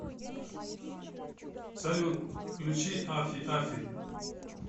салют включи афи афи